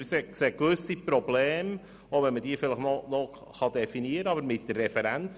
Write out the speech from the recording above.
Wir sehen gewisse Probleme mit der Referenzbasis, auch wenn wir diese vielleicht noch definieren könnten.